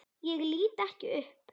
Ég lít ekki upp.